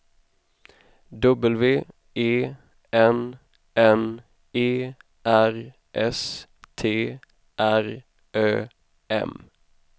W E N N E R S T R Ö M